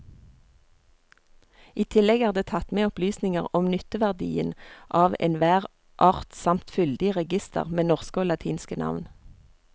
I tillegg er det tatt med opplysninger om nytteverdien av enhver art samt fyldig reigister med norske og latinske navn.